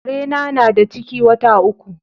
Kare na, na da ciki wata uku.